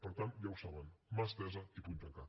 per tant ja ho saben mà estesa i puny tancat